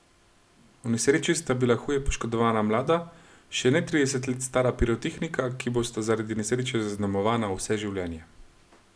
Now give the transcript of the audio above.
V nesreči sta bila huje poškodovana mlada, še ne trideset let stara pirotehnika, ki bosta zaradi nesreče zaznamovana vse življenje.